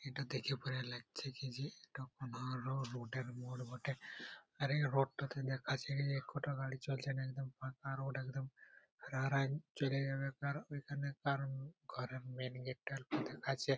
ইটা দেখে পরে লাগছে কি যে এইটঃ কোনো রোড বটে মোড় বটে | আর এই রোড -টাতে দেখাচ্ছে কি যে কত গাড়ি চলছে একদম ফাঁকা রোড ।